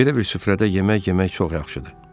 Belə bir süfrədə yemək yemək çox yaxşıdır.